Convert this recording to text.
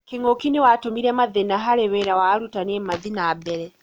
Kĩng'ũki nĩ watũmire mathĩĩna harĩ wĩra wa arutani mathiĩ na mbere.